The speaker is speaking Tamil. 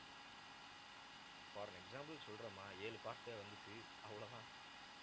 for an example சொல்றேம்மா ஏழு part டே வந்துச்சு அவ்வளவுதான்